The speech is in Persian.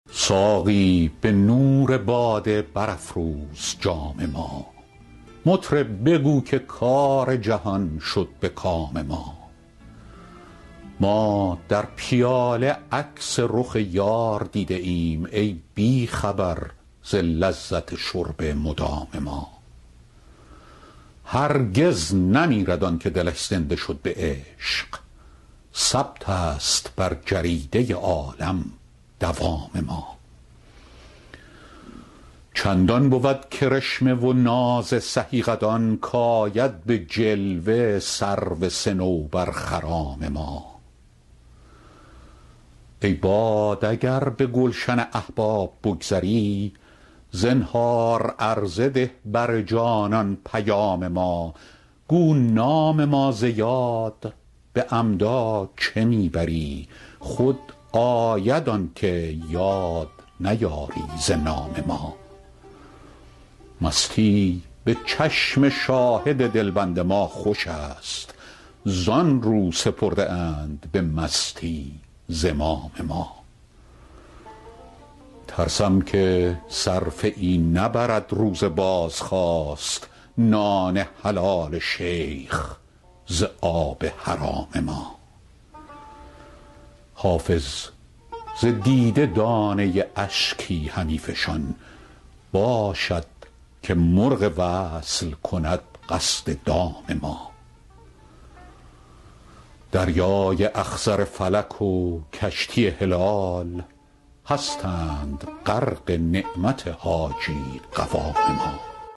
ساقی به نور باده برافروز جام ما مطرب بگو که کار جهان شد به کام ما ما در پیاله عکس رخ یار دیده ایم ای بی خبر ز لذت شرب مدام ما هرگز نمیرد آن که دلش زنده شد به عشق ثبت است بر جریده عالم دوام ما چندان بود کرشمه و ناز سهی قدان کآید به جلوه سرو صنوبرخرام ما ای باد اگر به گلشن احباب بگذری زنهار عرضه ده بر جانان پیام ما گو نام ما ز یاد به عمدا چه می بری خود آید آن که یاد نیاری ز نام ما مستی به چشم شاهد دلبند ما خوش است زآن رو سپرده اند به مستی زمام ما ترسم که صرفه ای نبرد روز بازخواست نان حلال شیخ ز آب حرام ما حافظ ز دیده دانه اشکی همی فشان باشد که مرغ وصل کند قصد دام ما دریای اخضر فلک و کشتی هلال هستند غرق نعمت حاجی قوام ما